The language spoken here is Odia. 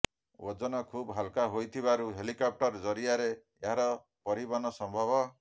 ଓଜନ ଖୁବ ହାଲୁକା ହୋଇଥିବାରୁ ହେଲିକପ୍ଟର ଜରିଆରେ ଏହାର ପରିବହନ ସମ୍ଭବ